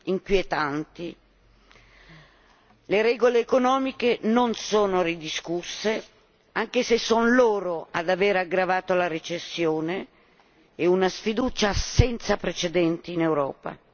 inquietanti le regole economiche non sono ridiscusse anche se sono loro ad avere aggravato la recessione e una sfiducia senza precedenti in Europa